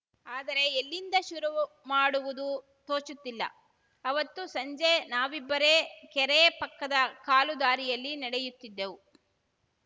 ಆದರೆ ಎಲ್ಲಿಂದ ಶುರುವುಮಾಡುವುದು ತೋಚುತ್ತಿಲ್ಲ ಅವತ್ತು ಸಂಜೆ ನಾವಿಬ್ಬರೇ ಕೆರೆ ಪಕ್ಕದ ಕಾಲು ದಾರಿಯಲ್ಲಿ ನಡೆಯುತ್ತಿದ್ದೆವು